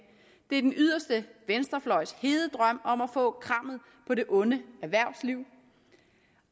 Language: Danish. det er den yderste venstrefløjs hede drøm om at få krammet på det onde erhvervsliv